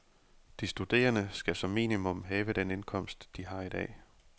De studerende skal som minimum have den indkomst, de har i dag.